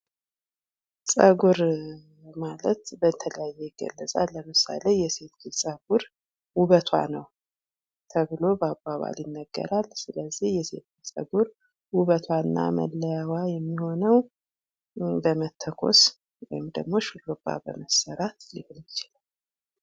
ፀጉር ማለት በተለያየ ይገለፃል። ለምሳሌ የሴት ልጅ ፀጉር ውበቷ ነው ተብሎ በአባባል ይነገራል ።ስለዚህ የሴት ልጅ ፀጉር ውበቷ እና መለያዎ የሚሆነው በመተኮስ ወይንም ደግሞ ሹሩባ በመሠራት ሊሆን ይችላል።